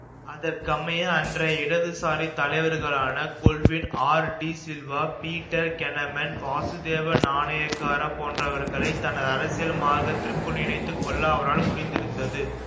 அதற்கமைய அன்றைய இடதுசாரி தலைவர்களான கொல்வின் ஆர் டி சில்வா பீட்டர் கெனமன் வாசுதேவ நாணயக்கார போன்றவர்களைத் தனது அரசியல் மார்க்கத்திற்குள் இணைத்து கொள்ள அவரால் முடிந்திருந்தது